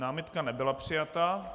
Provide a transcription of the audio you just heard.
Námitka nebyla přijata.